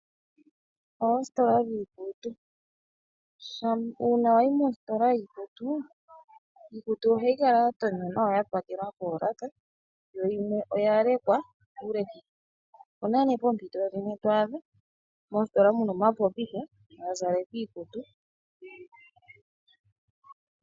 Oositola dhiikutu. Uuna wayi mositola yiikutu, iikutu ohayi kala ya tonywa nawa ya pakelwa poolaka yo yimwe oya lekwa kuulekitho. Opuna nee poompito dhimwe twaadha moositola muna omapopitha ga zalekwa iikutu.